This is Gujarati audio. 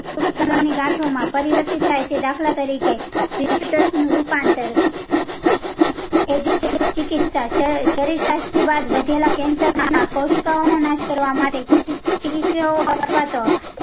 ગાંઠો માં પરિવર્તીથ થાય છે દાખલા તરીકે રૂપાંતર શરીર સષ્ટ્રીવાદ્ય વધેલા cancer કોશિકાઓ નો નાશ કાવા માટે અથવા તો